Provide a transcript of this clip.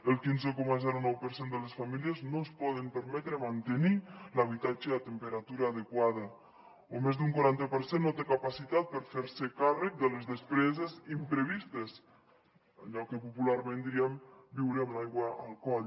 el quinze coma nou per cent de les famílies no es poden permetre mantenir l’habitatge a temperatura adequada o més d’un quaranta per cent no té capacitat per fer se càrrec de les despeses imprevistes allò que popularment diríem viure amb l’aigua al coll